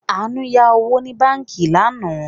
Àánú yá owó ní báànkì lánàá